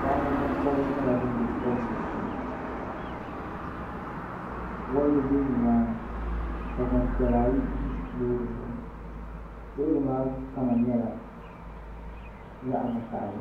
moɣani binkobiri nyɛla bin bɛ kom nyubu shee woligu bɛ nimaani ka Gbanpiɛla ayi ʒi loori zuɣu loori maa kama nyɛla zaɣ vakaɣali